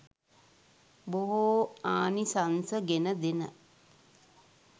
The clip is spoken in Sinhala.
බොහෝ ආනිසංස ගෙනදෙන,